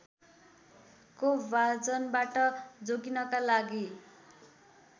कोपभाजनबाट जोगिनका लागि